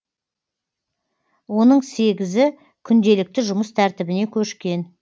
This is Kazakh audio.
оның сегізі күнделікті жұмыс тәртібіне көшкен